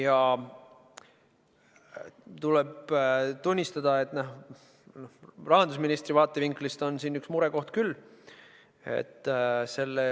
Aga tuleb tunnistada, et rahandusministri vaatevinklist on siin üks murekoht küll.